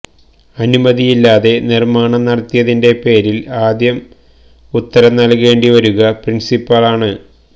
അനുമതിയില്ലാതെ നിർമ്മാണം നടത്തിയതിന്റെ പേരിൽ ആദ്യം ഉത്തരം നല്കേണ്ടി വരുക പ്രിൻസിപ്പാളാണ്